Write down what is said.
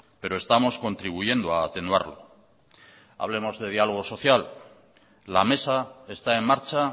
pero estamos contribuyendo a atenuarlo hablemos de diálogo social la mesa está en marcha